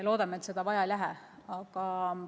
Loodame, et seda vaja ei lähe.